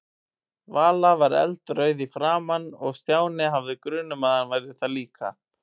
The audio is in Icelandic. Vala var eldrauð í framan og Stjáni hafði grun um að hann væri það líka.